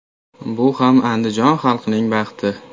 Bu ham Andijon xalqining baxti.